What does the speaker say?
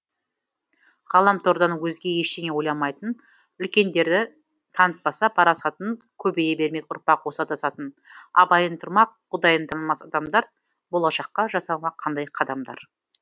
ғаламтордан өзге ештеңе ойламайтын үлкендері танытпаса парасатын көбейе бермек ұрпақ осы адасатын абайын тұрмақ құдайын танымас адамдар болашаққа жасамақ қандай қадамдар